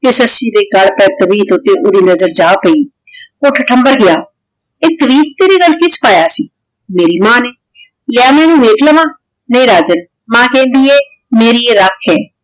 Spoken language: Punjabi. ਕੇ ਸੱਸੀ ਦੇ ਗਲ ਪੇ ਤਵੀਤ ਊਟੀ ਓੜੀ ਨਜ਼ਰ ਜਾ ਪੈ ਊ ਸੰਭਾਲ ਗਯਾ ਆ ਤਵੀਤ ਤੇਰੀ ਗਲ ਕੀਨੀ ਪਾਯਾ ਸੀ ਮੇਰੀ ਮਾਨ ਆਨੀ ਲਾਯਾ ਮੈਂ ਏਨੁ ਵੇਖ ਲਾਵਾਂ ਨਹੀ ਰਹਨ ਦੇ ਮਾਨ ਕੇਹ੍ਨ੍ਦੀ ਆਯ ਮੇਰੀ ਆਯ ਰਖ ਆਯ